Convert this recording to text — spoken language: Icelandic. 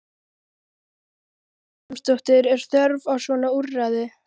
Hödd Vilhjálmsdóttir: Er þörf á svona úrræði?